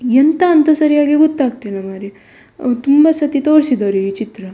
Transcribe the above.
ಎಂತ ಅಂತ ಸರಿಯಾಗಿ ಗೊತ್ತಾಗ್ತ ಇಲ್ಲ ಮಾರೆ ಅಹ್ ತುಂಬ ಸತಿ ತೋರ್ಸಿದ್ದಾರೆ ಈ ಚಿತ್ರ.